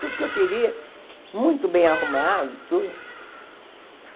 Tudo que eu queria, muito bem arrumado, tudo.